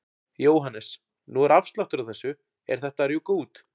Jóhannes: Nú er afsláttur á þessu, er þetta að rjúka út?